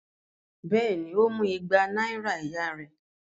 Bẹ́ẹ̀ ni, ó mú igba náírà ìyá rẹ̀.